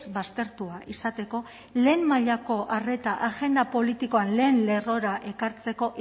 baztertua izateko lehen mailako arreta agenda politikoaren lehen lerrora ekartzeko